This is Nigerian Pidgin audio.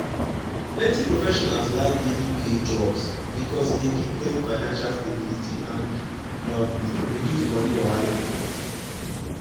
plenty professionals like daily pay jobs because e dey give dem financial stability and um reduce money wahala.